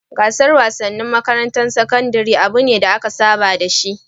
Gasar wasanni tsakanin makarantun sakandare abu ne da aka saba da shi.